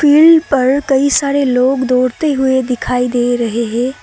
पिल पर कई सारे लोग दौड़ते हुए दिखाई दे रहे हैं।